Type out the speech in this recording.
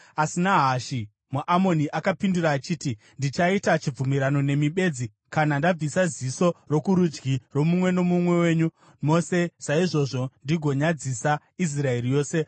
Asi Nahashi muAmoni akapindura achiti, “Ndichaita chibvumirano nemi bedzi kana ndabvisa ziso rokurudyi romumwe nomumwe wenyu mose saizvozvo ndigonyadzisa Israeri yose.”